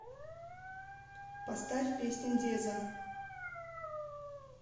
поставь песня дезза